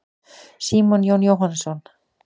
Símon Jón Jóhannsson.